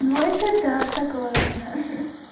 ну это да согласна